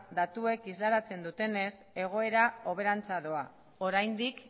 datuek isladatzen dutenez egoera hoberantz doa oraindik